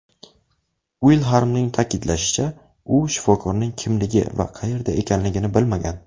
Uilxarmning ta’kidlashicha, u shifokorning kimligi va qayerda ekanligini bilmagan.